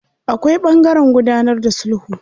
Akwai ɓangaren gudanar da sulhu.